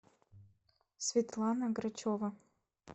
светлана грачева